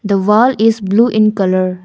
the wall is blue in colour.